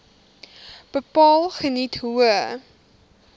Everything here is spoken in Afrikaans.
bepaal geniet hoë